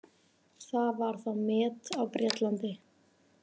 Það var þá met á Bretlandi.